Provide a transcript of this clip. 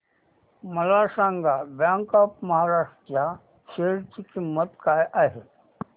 मला सांगा Bank of Maharashtra च्या शेअर ची किंमत काय आहे